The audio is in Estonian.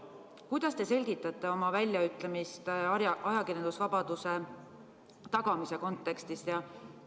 Kuidas te selgitate oma väljaütlemist ajakirjandusvabaduse tagamise kontekstis?